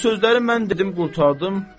Bu sözləri mən dedim qurtardım.